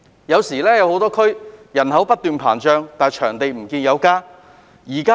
很多地區的人口不斷膨脹，場地供應卻沒有增加。